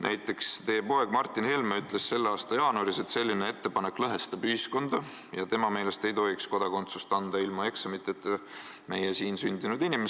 Näiteks ütles teie poeg Martin Helme selle aasta jaanuaris, et selline ettepanek lõhestab ühiskonda ja tema meelest ei tohiks meie siin sündinud inimestele kodakondsust ilma eksamiteta anda.